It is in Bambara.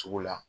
Sugu la